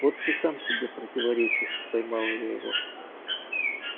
вот ты сам себе противоречишь поймала я его